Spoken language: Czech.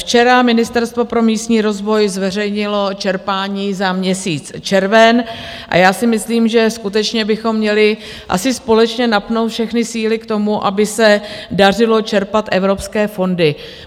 Včera Ministerstvo pro místní rozvoj zveřejnilo čerpání za měsíc červen a já si myslím, že skutečně bychom měli asi společně napnout všechny síly k tomu, aby se dařilo čerpat evropské fondy.